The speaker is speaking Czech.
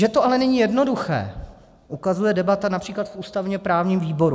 Že to ale není jednoduché, ukazuje debata například v ústavně-právním výboru.